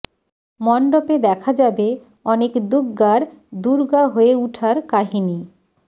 মণ্ডপে দেখা যাবে অনেক দুগ্গার দুর্গা হয়ে উঠার কাহিনী